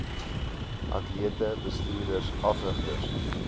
atlete bestuurders afrigters